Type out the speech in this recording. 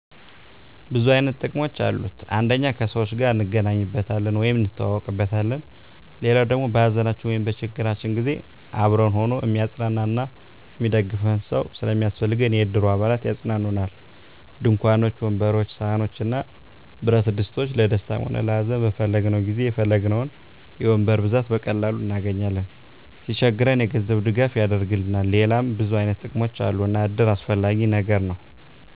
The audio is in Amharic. ብዙ አይነት ጥቅሞች አሉት አንደኛ ከሰዎች ጋር እንገናኝበታለን ወይም እንተዋወቅበታለን። ሌላዉ ደሞ በሀዘናችን ወይም በችግራችን ጊዜ አብሮን ሁኖ እሚያፅናናን እና እሚደግፈን ሰዉ ስለሚያስፈልገን የእድሩ አባላት ያፅናኑናል፣ ድንኳኖችን፣ ወንበሮችን፣ ሰሀኖችን እና ብረትድስቶችን ለደስታም ሆነ ለሀዘን በፈለግነዉ ጊዜ የፈለግነዉን የወንበር ብዛት በቀላሉ እናገኛለን። ሲቸግረን የገንዘብ ድጋፍ ያደርግልናል ሌላም ብዙ አይነት ጥቅሞች አሉ እና እድር አስፈላጊ ነገር ነዉ።